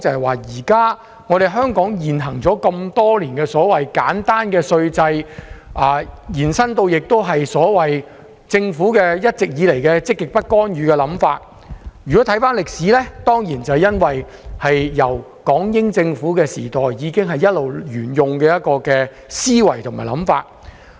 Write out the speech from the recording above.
回顧歷史，香港沿用多年的簡單稅制，以至政府一直以來的積極不干預政策，當然是港英政府時代已經一直沿用的思維。